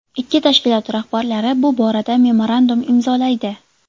Ikki tashkilot rahbarlari bu borada memorandum imzolaydi.